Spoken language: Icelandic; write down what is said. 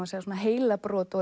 að segja svona heilabrot og